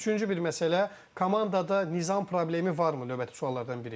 Üçüncü bir məsələ, komandada nizam problemi varmı növbəti suallardan biri?